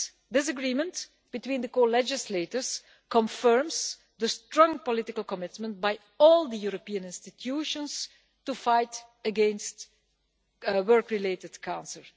This agreement between the co legislators confirms the strong political commitment by all the European institutions to fight against work related cancer.